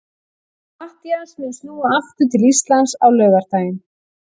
Matthías mun snúa aftur til Íslands á laugardaginn.